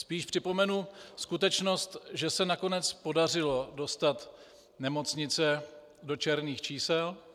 Spíš připomenu skutečnost, že se nakonec podařilo dostat nemocnice do černých čísel.